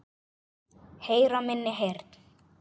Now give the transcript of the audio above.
Heyra minni heyrn.